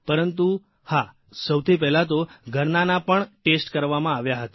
પરંતુ હા સૌથી પહેલાં તો ઘરનાના પણ ટેસ્ટ કરવામાં આવ્યા હતા